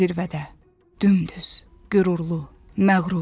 Zirvədə, dümdüz, qürurlu, məğrur.